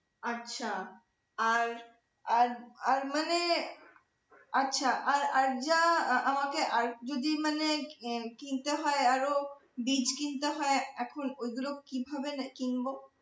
আচ্ছা আর আর মানে আচ্ছা আর আর আমাকে আর যদি মানে কিনতে হয় আরও বীজ কিনতে হয় এখন ওগুলো কিভাবে কিনব?